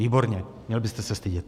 Výborně, měl byste se stydět.